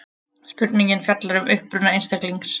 Spurningin fjallar um uppruna einstaklings.